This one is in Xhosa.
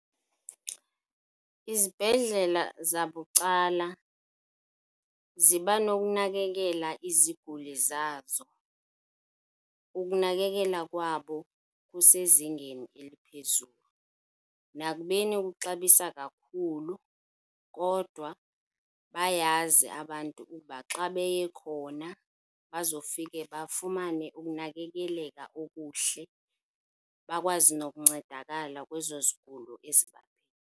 Izibhedlela zabucala ziba nokunakekela iziguli zazo, ukunakekela kwabo kusezingeni eliphezulu. Nakubeni kuxabisa kakhulu kodwa bayazi abantu ukuba xa beye khona bazofike bafumane ukunakekeleka okuhle, bakwazi nokuncedakala kwezo zigulo